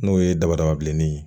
N'o ye dabada bilenni ye